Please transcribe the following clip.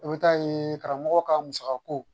I bɛ taa ye karamɔgɔ ka musaka ko